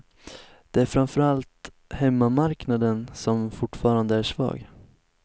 Det är framför allt hemmamarknaden som fortfarande är svag.